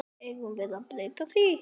Eigum við að breyta því?